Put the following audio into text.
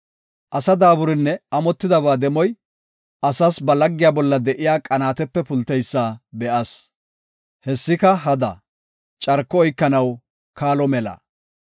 Asa daaburinne amotidaba demoy, asas ba laggiya bolla de7iya qanaatepe pulteysa be7as. Hessika hada; carko oykanaw kaalo mela.